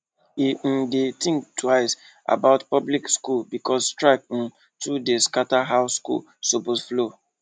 e um dey think twice about public school because strike um too dey scatter how school supposed flow